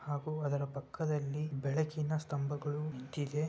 ಹಾಗು ಅದರ ಪಕ್ಕದಲ್ಲಿ ಬೆಳಕಿನ ಸ್ತಅಂಬಗಳು ನಿತ್ತಿದೆ.